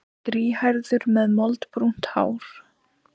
Strýhærður með moldbrúnt hár.